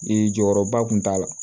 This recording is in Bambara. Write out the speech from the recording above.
jɔyɔrɔba kun t'a la